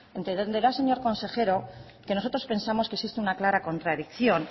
entenderá señor consejero que nosotros pensamos que existe una clara contradicción